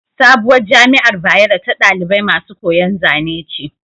Sabuwar jamiar bayero ta ɗalibai masu koyan Zane ce